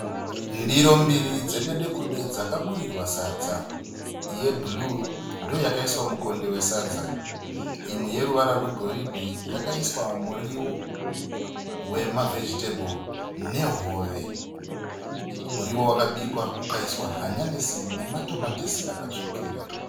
Ndiro mbiri dzededekude dzakaburirwa sadza. Yebhuruwu ndiyo yakaiswa mukonde wesadza. Imwe yeruvara rwegorudhe yakaiswa muriwo wema vhegiteburi nehove. Muriwo wakaiswa hanyanusi nematomatisi akatsukira.